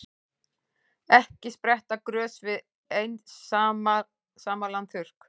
Ekki spretta grös við einsamlan þurrk.